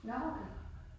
Nåh okay